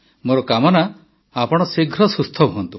ମୋର କାମନା ଆପଣଙ୍କ ଶୀଘ୍ର ସୁସ୍ଥ ହୁଅନ୍ତୁ